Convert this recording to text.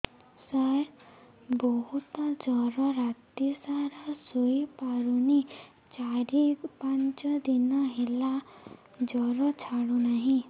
ସାର ବହୁତ ଜର ରାତି ସାରା ଶୋଇପାରୁନି ଚାରି ପାଞ୍ଚ ଦିନ ହେଲା ଜର ଛାଡ଼ୁ ନାହିଁ